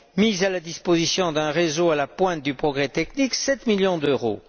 mise à la disposition d'un réseau à la pointe du progrès technique, 7 millions d'euros